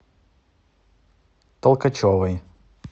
толкачевой